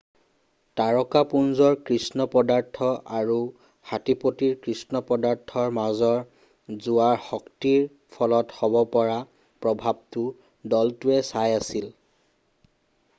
তাৰকাপুঞ্জৰ কৃষ্ণ পদাৰ্থ আৰু হাটীপটীৰ কৃষ্ণ পদাৰ্থৰ মাজৰ জোৱাৰ শক্তিৰ ফলত হ'ব পৰা প্ৰভাৱটো দলটোৱে চাই আছিল